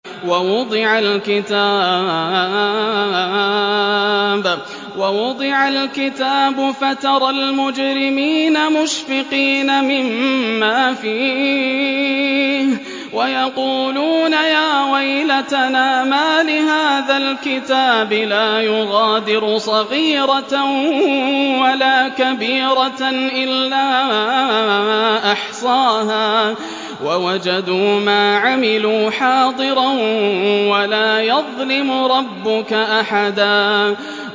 وَوُضِعَ الْكِتَابُ فَتَرَى الْمُجْرِمِينَ مُشْفِقِينَ مِمَّا فِيهِ وَيَقُولُونَ يَا وَيْلَتَنَا مَالِ هَٰذَا الْكِتَابِ لَا يُغَادِرُ صَغِيرَةً وَلَا كَبِيرَةً إِلَّا أَحْصَاهَا ۚ وَوَجَدُوا مَا عَمِلُوا حَاضِرًا ۗ وَلَا يَظْلِمُ رَبُّكَ أَحَدًا